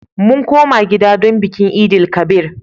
Mun koma gida don bikin Eid-el-kabir.